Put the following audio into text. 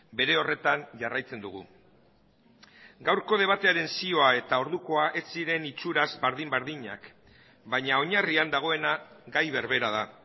bere horretan jarraitzen dugu gaurko debatearen zioa eta ordukoa ez ziren itxuraz berdin berdinak baina oinarrian dagoena gai berbera da